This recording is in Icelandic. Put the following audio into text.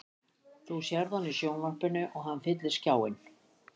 Þú sérð hann í sjónvarpinu og hann fyllir skjáinn.